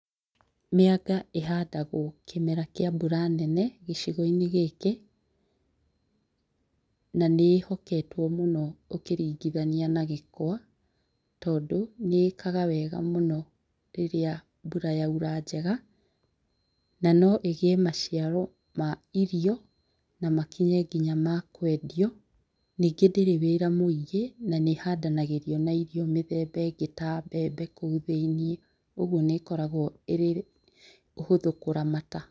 Mĩanga ĩhandagwo kĩmera kĩa mbura nene gĩcigo-inĩ gĩkĩ, na nĩĩhoketwo mũno ũkĩringithania na gĩkwa tondũ nĩĩkaga wega mũno rĩrĩa mbura yaura njega. Nanoĩgĩe maciaro ma irio na makinye nginya makwendio. Nyingĩ ndĩrĩ mawĩra maingĩ na nĩĩhandanagĩrio na irio methemba ĩngĩ ta mbembe kũu thĩiniĩ. ũgwo nĩĩkoragwo ĩhũthũ kũramata.